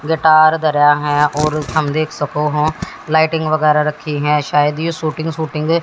guitar धरा है और हम देख सको हो लाइटिंग वगैरह रखी है शायद यह शूटिंग शूटिंग --